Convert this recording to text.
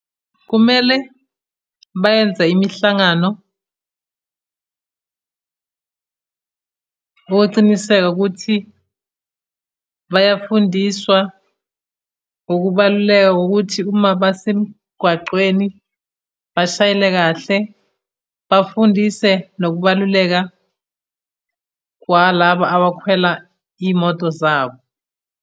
Kumele bayenze imihlangano wokuciniseka ukuthi bayafundiswa ukubaluleka kokuthi uma basemgwacweni bashayela kahle. Bafundise nokubaluleka kwalaba abakhwela iy'moto zabo.